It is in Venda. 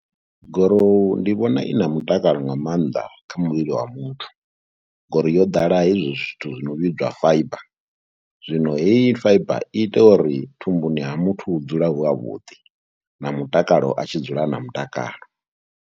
Gorowu ndi vhona i na mutakalo nga maanḓa kha muvhili wa muthu ngori yo ḓala hezwi zwithu zwi no vhidzwa fibre, zwino heyi fibre i ita uri thumbuni ha muthu hu dzule hu havhuḓi na mutakalo a tshi dzula a na mutakalo.